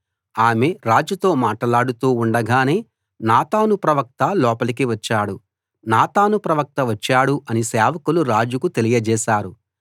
ఆమె రాజుతో మాటలాడుతూ ఉండగానే నాతాను ప్రవక్త లోపలికి వచ్చాడు నాతాను ప్రవక్త వచ్చాడు అని సేవకులు రాజుకు తెలియజేశారు